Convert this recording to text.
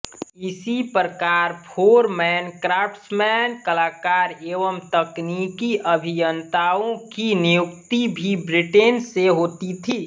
इसी प्रकार foreman craftsman कलाकार एवं तकनीकी अभियन्ताओं की नियुक्ति भी ब्रिटेन से होती थी